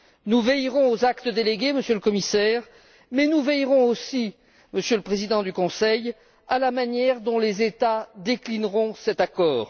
Nous veillerons aux actes délégués, Monsieur le Commissaire, mais nous veillerons aussi, Monsieur le Président du Conseil, à la manière dont les États déclineront cet accord.